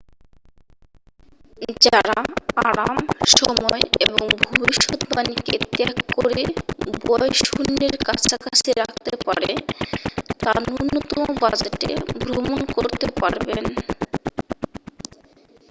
যাঁরা আরাম সময় এবং ভবিষ্যদ্বাণীকে ত্যাগ করে ব্য়য় শূন্যের কাছাকাছি রাখতে পারবে তা ন্যূনতম বাজেটে ভ্রমণ করতে পারবেন